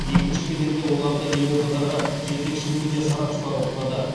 екінші кезеңде оларды елордадағы жетекші медиа сарапшылар оқытады